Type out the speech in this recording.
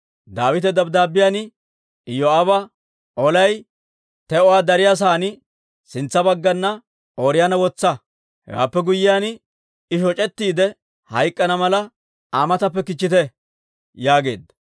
Daawite dabddaabbiyaan Iyoo'aaba, «Olay te'uwaa dariyaa sa'aan, sintsa baggana Ooriyoona wotsa; hewaappe guyyiyaan, I shoc'ettiide hayk'k'ana mala, Aa matappe kichchite» yaageedda.